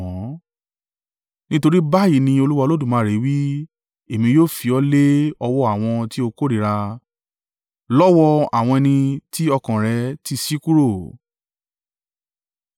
“Nítorí báyìí ni Olúwa Olódùmarè wí: Èmi yóò fi ọ lé ọwọ́ àwọn tí ó kórìíra, lọ́wọ́ àwọn ẹni tí ọkàn rẹ ti ṣí kúrò.